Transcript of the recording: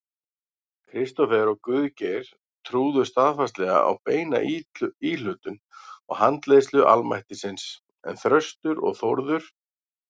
Kristófer og Guðgeir trúðu staðfastlega á beina íhlutun og handleiðslu almættisins, en Þröstur og Þórður